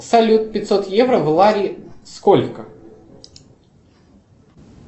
салют пятьсот евро в лари сколько